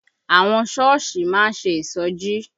Àwọn Sọ́ọ̀sì má ń ṣe ìṣọjí